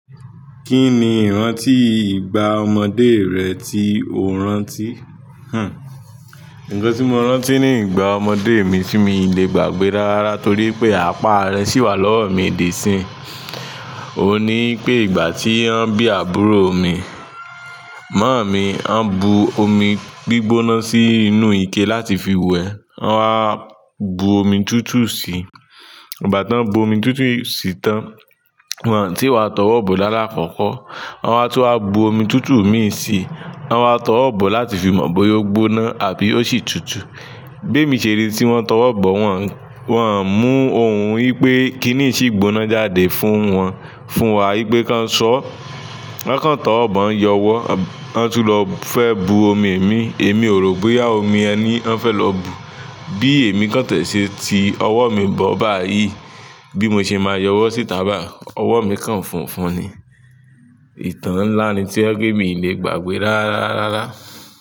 Kí ni ìrántí ìgbà ọmọdé rẹ tí o rántí? Hmm. Nǹkan tí mo rántí ní ìgbà ọmọdé mi tí mi le gbàgbé rarára torí pé apá rẹ sì wà lọ́wọ́ mi di sín. Óun ní wi pé ìgbà tí wọ́n bí àbúrò mi, màámi wọ́n bu omi gbígbóná sí inú ike láti fi wẹ. Wọ́n wá bu omi tútù si. Ìgbà tá ń bu omi tútù si tán, wọn tí wá tọwọ́ bọ̀ lálàkoko. Ko won wá tún wá bu omi tútù mì í si, wọ́n wá tọwọ́ bọ̀ láti fi mọ bóyá ó gbóná àbí ó sì tútù. Bé mi ṣeri tí wọ́n tọwọ́ bọ̀, wọn, wọn ń mú òhun wí pé kí nìí yi ṣì gbóná jáde fún wọn. Fún wa wí pé ká ń sọ. Wọ́n kàn tọwọ́ bọ̀ ń yọwọ́, wọ́n tún lọ fẹ́ bu omi mi. Èmi ò rò bóyá omi yẹni wọ́n fẹ́ lọ bu. Bí èmi kàn tẹ̀ẹ́ ṣe ti ọwọ́ mi bọ̀ báyìí, bí mo ṣe máa yọwọ́ sí tà bayi. Ọwọ́ mi kàn funfun ni. Ìtàn ńlá ni tí ọ jé pe mi lè gbàgbé rárarára.